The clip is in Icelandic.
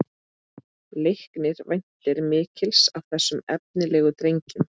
Leiknir væntir mikils af þessum efnilegu drengjum